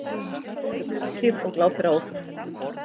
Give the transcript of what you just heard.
Stendur grafkyrr og glápir á okkur.